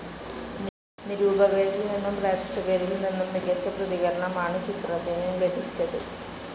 നിരൂപകരിൽ നിന്നും പ്രേക്ഷകരിൽ നിന്നും മികച്ച പ്രതികരണമാണ് ചിത്രത്തിനു ലഭിച്ചത്.